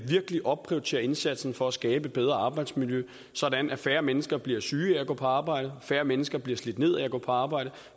virkelig opprioriterer indsatsen for at skabe et bedre arbejdsmiljø sådan at færre mennesker bliver syge af at gå på arbejde færre mennesker bliver slidt ned af at gå på arbejde